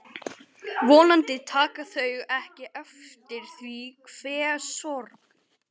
Vonandi taka þau ekki eftir því hve sorg